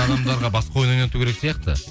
адамдарға басқа ойын ойнату керек сияқты